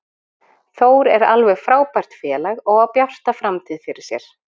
Þór er alveg frábært félag og á bjarta framtíð fyrir sér.